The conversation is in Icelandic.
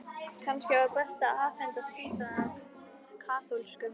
Kannski var best að afhenda spítalann kaþólskum?